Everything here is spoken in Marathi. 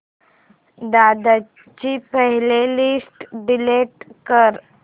दादा ची प्ले लिस्ट डिलीट कर